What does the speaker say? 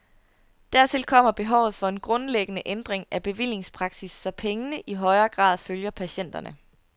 Dertil kommer behovet for en grundlæggende ændring af bevillingspraksis, så pengene i højere grad følger patienterne.